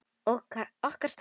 Okkar staður.